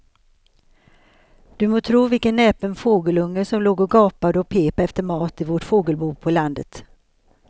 Du må tro vilken näpen fågelunge som låg och gapade och pep efter mat i vårt fågelbo på landet.